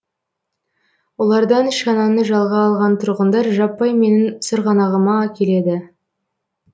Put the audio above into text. олардан шананы жалға алған тұрғындар жаппай менің сырғанағыма келеді